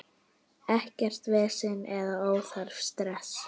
Ekkert vesen eða óþarfa stress.